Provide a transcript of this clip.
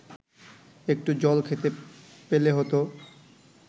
একটু জল খেতে পেলে হত